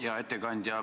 Hea ettekandja!